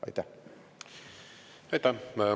Aitäh!